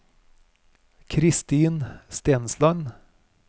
Christin Stensland